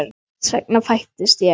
Þess vegna fæddist ég.